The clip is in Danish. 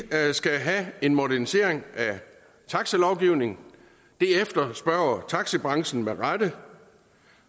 skal have en modernisering af taxilovgivningen det efterspørger taxibranchen med rette